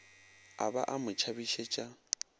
a ba a mo tšhabišetša